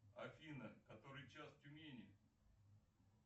афина который час в тюмени